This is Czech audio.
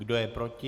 Kdo je proti?